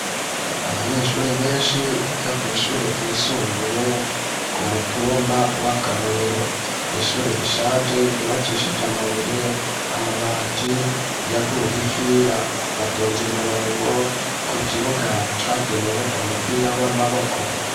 Abanyeshure benshi biga kw'ishure ryisumbuye ku mutumba w'akarorero n'ishure rishaje ryubakishije amabuye amabati yaguye ifira batonze umurongo ku kibuga cagenewe umupira w'amaboko.